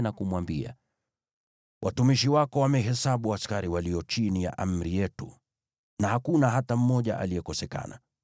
na kumwambia, “Watumishi wako wamehesabu askari walio chini ya amri yetu na hakuna hata mmoja aliyekosekana.